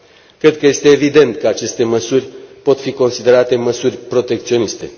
Cred că este evident că aceste măsuri pot fi considerate măsuri protecționiste.